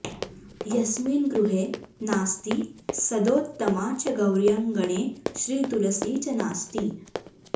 यस्मिन्गृहे नास्ति सदोत्तमा च गौर्यङ्गणे श्रीतुलसी च नास्ति